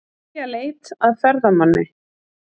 Hefja leit að ferðamanni